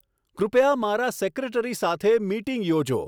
કૃપયા મારા સેક્રેટરી સાથે મિટિંગ યોજો